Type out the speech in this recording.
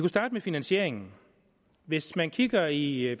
starte med finansieringen hvis man kigger i i